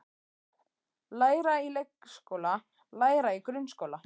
Læra í leikskóla Læra í grunnskóla